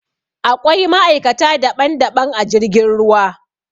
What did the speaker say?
Aƙwai ma'aikata daɓan-daɓan a jirgin ruwa.